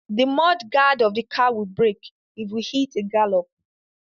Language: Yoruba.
The mud guard of the car will break if we hit a gallop.